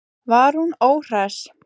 Var hún óhress?